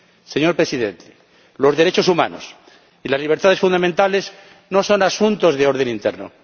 Señor Presidente, los derechos humanos y las libertades fundamentales no son asuntos de orden interno.